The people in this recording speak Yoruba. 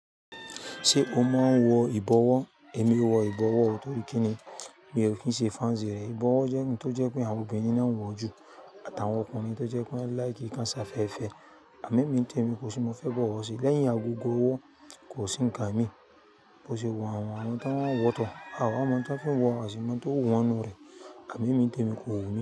Ṣé o máa ń wọ ìbọwọ́? Èmi wọ ìbọwọ́, torí kíni? Mi ò kí ń ṣe fanci rẹ̀. Ìbọwọ́ jẹ́ ohun tó jẹ pé àwọn obìnrin náà ń wọ̀ jù àt’àwọn ọkùnrin tó jẹ pé wọ́n like kan ṣe afẹfẹ. Àmọ́, èmi ń tẹ̀ mí kó si n mo fẹ́ bọ̀wọ̀ ṣe. Lẹ́yìn agogo ọwọ kò sí ń kan mí. Bo ṣe wọ àwọn àwọn tó wọ tọ̀, àwa ọmọ tó fín wọ àṣì máa tó wọ̀nù rẹ̀. Àmọ́, èmi ń tè mi kò wù mí.